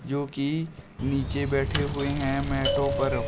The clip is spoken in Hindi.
जो कि नीचे बैठे हुए हैं मैटो पर।